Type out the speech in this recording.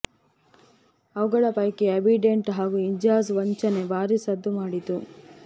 ಅವುಗಳ ಪೈಕಿ ಆ್ಯಂಬಿಡೆಂಟ್ ಹಾಗೂ ಇಂಜಾಜ್ ವಂಚನೆ ಭಾರೀ ಸದ್ದು ಮಾಡಿತ್ತು